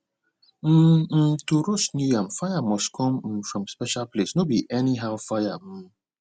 um um to roast new yam fire must come um from special place no be anyhow fire um